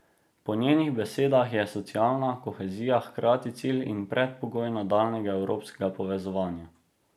Po njenih besedah je socialna kohezija hkrati cilj in predpogoj nadaljnjega evropskega povezovanja.